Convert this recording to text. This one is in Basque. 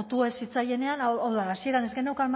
otu ez zitzaienean hau da hasieran ez geneukan